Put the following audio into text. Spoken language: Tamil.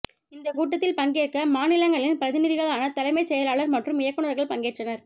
இந்தக் கூட்டத்தில் பங்கேற்க மாநிலங்களின் பிரதிநிதிகளான தலைமைச் செயலாளர் மற்றும் இயக்குநர்கள் பங்கேற்றனர்